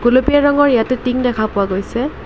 গুলপীয়া ৰঙৰ ইয়াতে টিং দেখা পোৱা গৈছে।